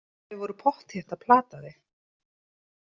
Þau voru pottþétt að plata þig.